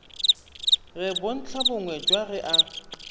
re bontlhabongwe jwa re a